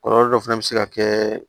Kɔlɔlɔ dɔ fana bɛ se ka kɛ